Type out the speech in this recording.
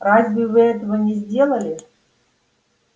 разве вы этого не сделали